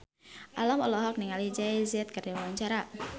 Alam olohok ningali Jay Z keur diwawancara